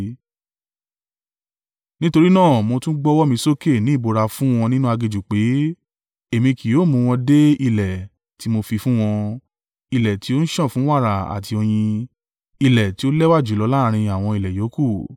Nítorí náà, mo tún gbọ́wọ́ mi sókè ní ìbúra fún wọn nínú aginjù pé, èmi kì yóò mú wọn dé ilẹ̀ tí mo fi fún wọn—ilẹ̀ tí ó ń sàn fún wàrà àti oyin, ilẹ̀ tí ó lẹ́wà jùlọ láàrín àwọn ilẹ̀ yòókù.